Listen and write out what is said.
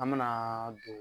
An manaa don